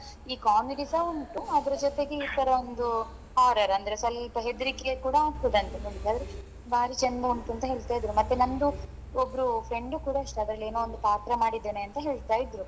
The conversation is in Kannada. ಈ comedy ಸ ಉಂಟು ಅದ್ರ ಜೊತೆಗೆ ಈತರ ಒಂದು horror ಅಂದ್ರೆ ಸ್ವಲ್ಪ ಹೆದ್ರಿಕೆ ಕೂಡ ಆಗ್ತದಂತೆ ಬಾರಿ ಚಂದ ಉಂಟು ಅಂತ ಹೇಳ್ತಿದ್ರು ಮತ್ತೆ ನಮ್ದು ಒಬ್ರು friend ಕೂಡ ಅಷ್ಟೇ ಅದ್ರಲ್ಲಿ ಏನೋ ಒಂದು ಪಾತ್ರ ಮಾಡಿದೆನೇ ಅಂತ ಹೇಳ್ತಾ ಇದ್ರು.